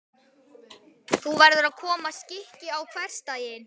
Nú verður að koma skikki á hversdaginn.